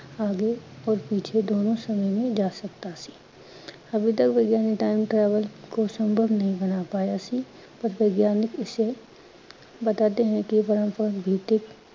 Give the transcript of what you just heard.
ਆਗੇ ਔਰ ਪੀਛੇ ਦੋਨੋ ਸਮੇ ਮੇਂ ਜਾ ਸਕਦਾ ਸੀ। ਅਭੀ ਤਕ ਵਿਗਿਆਨਿਕ time travel ਕੋ ਸੰਤਵ ਨਹੀਂ ਬਣਾ ਪਾਇਆ ਸੀ, ਪਰ ਵਿਗਿਆਨਿਕ ਇਸੇ ਬਤਾਤੇ ਹੈਂ ਕਿ